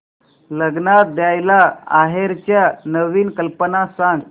लग्नात द्यायला आहेराच्या नवीन कल्पना सांग